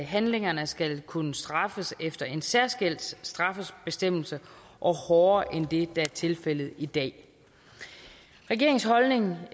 handlingerne skal kunne straffes efter en særskilt straffebestemmelse og hårdere end det der er tilfældet i dag regeringens holdning